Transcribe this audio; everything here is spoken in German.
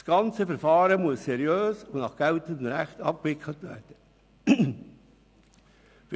Das ganze Verfahren muss seriös und nach geltendem Recht abgewickelt werden.